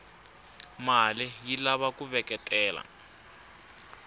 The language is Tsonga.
male yilava kuveketela